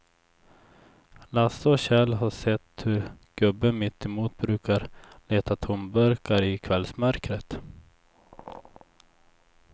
Lasse och Kjell har sett hur gubben mittemot brukar leta tomburkar i kvällsmörkret.